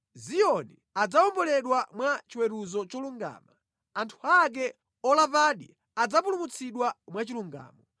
Ziyoni adzawomboledwa mwa chiweruzo cholungama, anthu ake olapadi adzapulumutsidwa mwachilungamo.